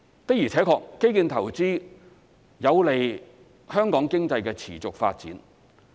的而且確，基建投資有利香港經濟的持續發展。